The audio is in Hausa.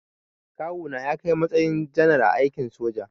Kawuna ya kai matakin janar a aikin soja.